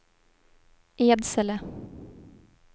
Edsele